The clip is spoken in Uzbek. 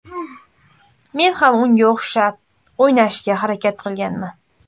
Men ham unga o‘xshab o‘ynashga harakat qilganman.